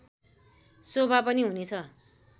शोभा पनि हुनेछ